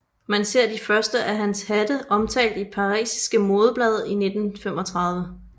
Man ser de første af hans hatte omtalt i parisiske modeblade i 1935